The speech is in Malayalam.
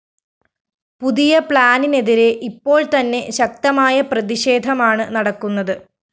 പുതിയ പ്ലാനിനെതിരെ ഇപ്പോള്‍തന്നെ ശക്തമായ പ്രതിഷേധമാണ്‌ നടക്കുന്നത്‌